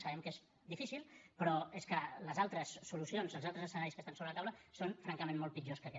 sabem que és difícil però és que les altres solucions els altres escenaris que estan sobre la taula són francament molt pitjors que aquest